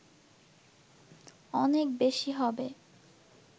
অনেক বেশী হবে